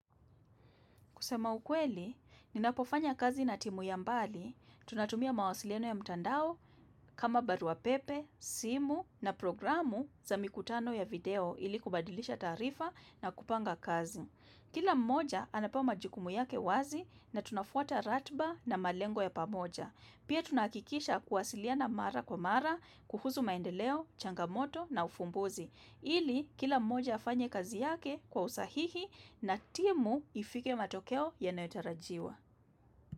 Kusema ukweli, ninapofanya kazi na timu ya mbali, tunatumia mawasiliano ya mtandao kama baruapepe, simu na programu za mikutano ya video ili kubadilisha taarifa na kupanga kazi. Kila mmoja anapewa majukumu yake wazi na tunafwata ratiba na malengo ya pamoja. Pia tunahakikisha kuwasiliana mara kwa mara, kuhusu maendeleo, changamoto na ufumbuzi. Ili kila mmoja afanye kazi yake kwa usahihi na timu ifike matokeo yanayotarajiwa.